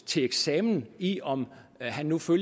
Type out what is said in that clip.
til eksamen i om han nu fører